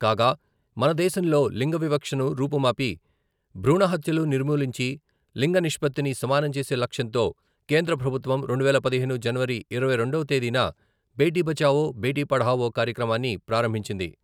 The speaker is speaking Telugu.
కాగా, మనదేశంలో లింగవివక్షను రూపుమాపి భ్రూణహత్యలు నిర్మూలించి లింగనిష్పత్తిని సమానంచేసే లక్ష్యంతో కేంద్ర ప్రభుత్వం రెండువేల పదిహేను జనవరి ఇరవై రెండవ తేదీన బేటీ బచావో బేటీ పఢావో కార్యక్రమాన్ని ప్రారంభించింది.